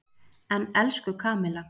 En, elsku Kamilla.